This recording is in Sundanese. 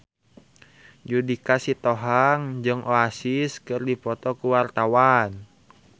Judika Sitohang jeung Oasis keur dipoto ku wartawan